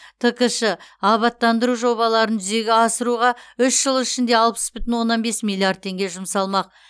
ткш абаттандыру жобаларын жүзеге асыруға үш жыл ішінде алпыс бүтін оннан бес миллиард теңге жұмсалмақ